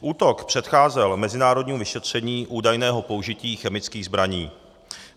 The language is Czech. Útok předcházel mezinárodnímu vyšetření údajného použití chemických zbraní.